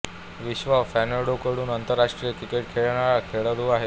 विश्वा फर्नांडो कडून आंतरराष्ट्रीय क्रिकेट खेळणारा खेळाडू आहे